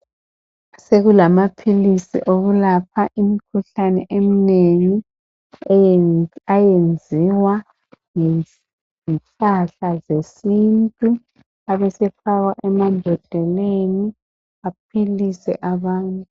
Sekulamaphilisi okulapha imikhuhlane eminengi ayenziwa ngesihlahla sesintu abesefakwa emambodleleni aphilise abantu.